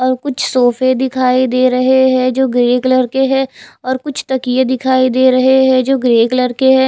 और कुछ सोफे दिखाई दे रहे है जो ग्रे कलर के है और कुछ तकिये दिखाई दे रहे है जो ग्रे कलर के है।